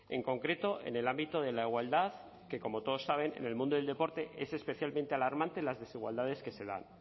en concreto en el ámbito de la igualdad que como todos saben en el mundo del deporte es especialmente alarmante las desigualdades que se dan